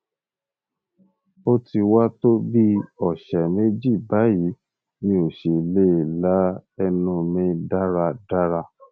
o ti wa to bi ọsẹ meji bayi mi o si le la ẹnu mi daradara